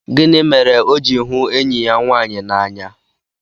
Gịnị mere o ji hụ enyi ya nwaanyị n'anya?